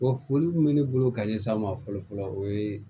O foli min bɛ ne bolo ka ɲɛsin an ma fɔlɔ fɔlɔ o ye